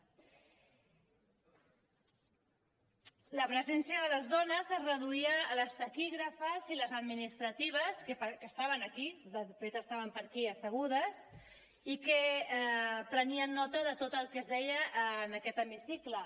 la presència de les dones es reduïa a les taquígrafes i a les administratives que estaven aquí de fet estaven per aquí assegudes i que prenien nota de tot el que es deia en aquest hemicicle